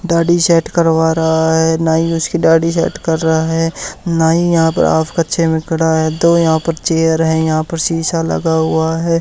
दाढ़ी सेट करवा रहा है नाई उसकी दाढ़ी सेट कर रहा है नाई यहां पर हाफ कच्छे में खड़ा है दो यहां पर चेयर हैं यहां पर शीशा लगा हुआ है।